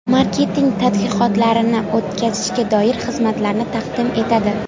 Marketing tadqiqotlarini o‘tkazishga doir xizmatlarni taqdim etadi.